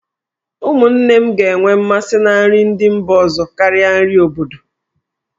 Ụmụnne m ga-enwe mmasị na nri ndị mba ọzọ karịa nri obodo.